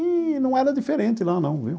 E não era diferente lá, não, viu?